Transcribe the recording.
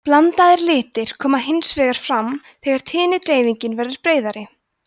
blandaðir litir koma hins vegar fram þegar tíðnidreifingin verður breiðari